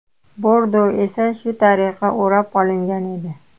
Bordo esa shu tariqa o‘rab olingan edi.